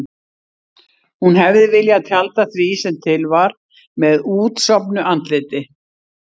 Hún hefði viljað tjalda því sem til var með útsofnu andliti.